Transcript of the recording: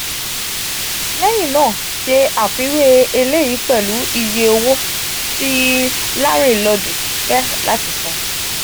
um leyin naa se afiwe eleyi pelu iye owo ti larinlodu fe lati san.